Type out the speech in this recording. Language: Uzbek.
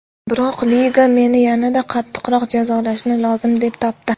Biroq liga meni yanada qattiqroq jazolashni lozim deb topdi.